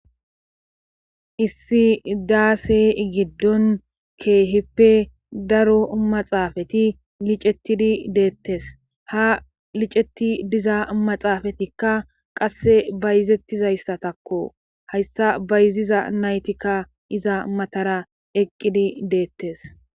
issi daase giddon keehippe daro maxaafati licettidi deettes ha liceti diza maxaafatikka qasse bayzettizayssatakko hayssa bayziza naytikka iza matara eqqidi deettes